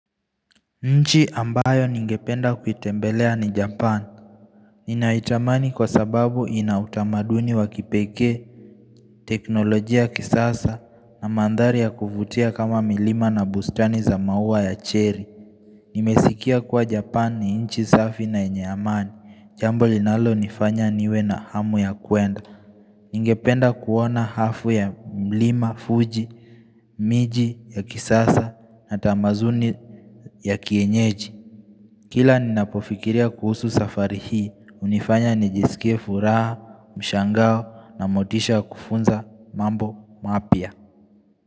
Nchi ambayo ningependa kuitembelea ni japan Ninaitamani kwa sababu ina utamaduni wa kipekee teknolojia ya kisasa na mandhari ya kuvutia kama milima na bustani za maua ya cherry Nimesikia kwa japan ni nchi safi na yenye amani jambo linalo nifanya niwe na hamu ya kuenda Ningependa kuona hafu ya mlima fuji miji ya kisasa na tamazuni ya kienyeji Kila ninapofikiria kuhusu safari hii, hunifanya nijisikie furaha, mshangao na motisha kufunza mambo mapya.